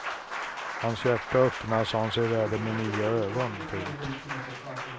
Hans hjärta öppnas och han ser världen med nya ögon. punkt